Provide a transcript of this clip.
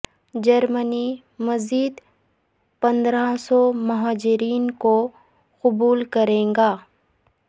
جرمنی مزید پندرہ سو مہاجرین کو قبول کرے گا